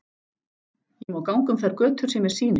Ég má ganga um þær götur sem mér sýnist.